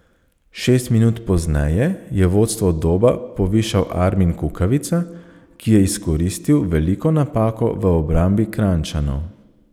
Šest minut pozneje je vodstvo Doba povišal Armin Kukavica, ki je izkoristil veliko napako v obrambi Kranjčanov.